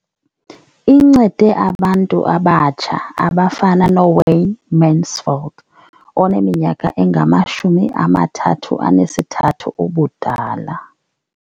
Incede abantu abatsha abafana noWayne Mansfield oneminyaka engama-33 ubudala.